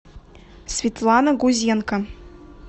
светлана гузенко